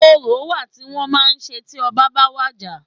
Orò wa tí wọ́n màá ń ṣe tí ọbá ba wàjà.